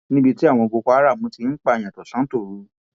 níbi tí àwọn boko haram ti ń pààyà tọsántòru